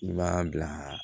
I b'a bila